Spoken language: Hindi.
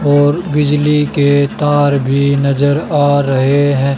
और बिजली के तार भी नजर आ रहे है।